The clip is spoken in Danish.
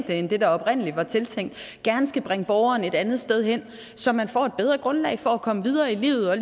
end det der oprindelig var tiltænkt gerne skal bringe borgeren et andet sted hen så man får et bedre grundlag for at komme videre i livet og